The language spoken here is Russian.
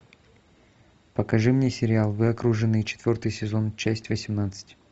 покажи мне сериал вы окружены четвертый сезон часть восемнадцать